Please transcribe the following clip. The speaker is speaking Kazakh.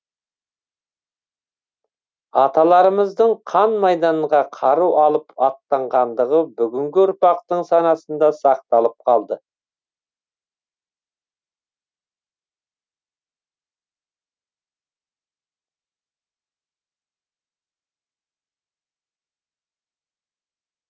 аталарымыздың қан майданға қару алып аттанғандығы бүгінгі ұрпақтың санасында сақталып қалды